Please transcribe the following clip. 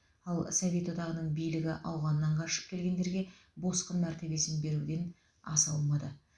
ал совет одағының билігі ауғаннан қашып келгендерге босқын мәртебесін беруден аса алмады